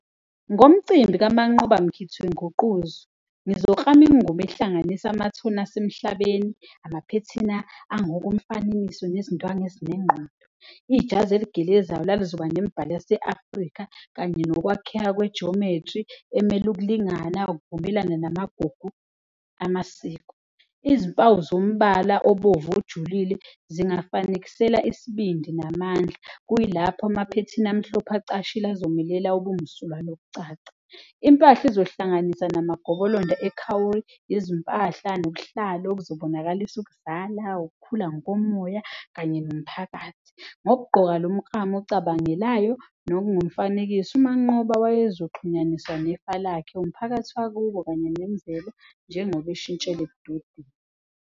Ngomcimbi kaManqoba Mkhithi wenguquzo ngizoklama imngubo ehlanganisa amathoni asemhlabeni, amaphethini angokomfanekiso nezindwangu ezinengqondo, ijazi eligelezayo la lizoba nemibhalo yase-Afrika kanye nokwakheka kwe-geometry emele ukulingana, ukuvumelana namagugu amasiko. Izimpawu zombala obovu ojulile zingafanekisela isibindi namandla, kuyilapho amaphethini amhlophe acashile azomelela ubumsulwa nokucaca. Impahla izohlanganisa namagobolondo , izimpahla nobuhlalu obuzobonakalisa ukuzala, ukukhula ngokomoya kanye nomphakathi. Ngokugqoka lo mklamu ocabangelayo nokungumfanekiso, uManqoba wayezoxhunyaniswa nefa lakhe, umphakathi wakubo kanye nemvelo njengoba ishintshile .